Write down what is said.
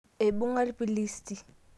eibunga ilpilisi